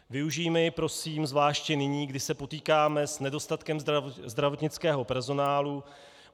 Využijme ji prosím zvláště nyní, kdy se potýkáme s nedostatkem zdravotnického personálu.